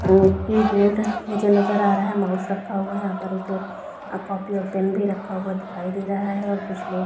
keyboard मुझे नजर आ रहा है माउस रखा हुआ है एक कॉपी और पेन भी रखा हुआ दिखाई दे रहा है और कुछ लोग --